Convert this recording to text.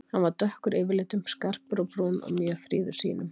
Hann var dökkur yfirlitum, skarpur á brún og mjög fríður sýnum.